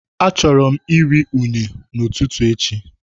I would love to have plantain as my breakfast tomorrow